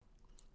Radio 4